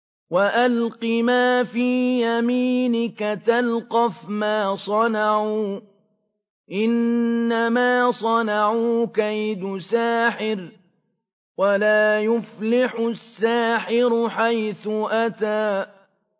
وَأَلْقِ مَا فِي يَمِينِكَ تَلْقَفْ مَا صَنَعُوا ۖ إِنَّمَا صَنَعُوا كَيْدُ سَاحِرٍ ۖ وَلَا يُفْلِحُ السَّاحِرُ حَيْثُ أَتَىٰ